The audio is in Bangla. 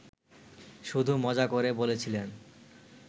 শুধু মজা করে বলেছিলেন